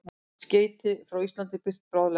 Skeytin frá Íslandi birt bráðlega